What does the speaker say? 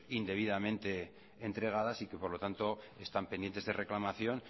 indebidamente entregadas y que por lo tanto están pendientes de reclamación